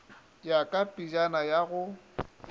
ya ka pejana ya go